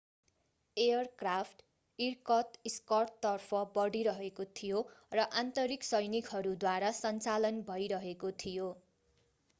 aircraft इर्कत्स्कतर्फ बढिरहेको थियो र आन्तरिक सैनिकहरूद्वारा सञ्चालन भइरहेको थियो